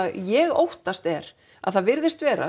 ég óttast er að það virðist vera